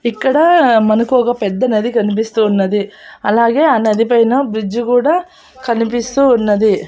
ఇక్కడ మనకు ఒక పెద్ద నది కనిపిస్తూ ఉన్నది అలాగే ఆ నది పైన బ్రిడ్జి కూడా కనిపిస్తూ ఉన్నది.